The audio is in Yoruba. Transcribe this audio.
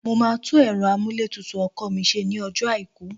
Mo máa tún ẹ̀rọ amúlétutù ọkọ̀ mi ṣe ní ọjọ́ àìkú